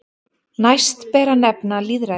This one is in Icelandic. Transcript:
Næst ber að nefna lýðræði.